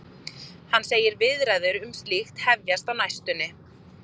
Hann segir viðræður um slíkt hefjast á næstunni.